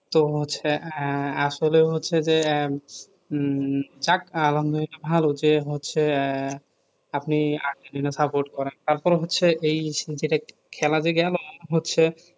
তো হচ্ছে আহ আসলে হচ্ছে যে আহ উম যাক আলহামদুলিল্লাহ ভালো যে হচ্ছে এহ আপনি আর্জেন্টিনা support করেন তারপরে হচ্ছে এই যেটা খেলা যে গেলো হচ্ছে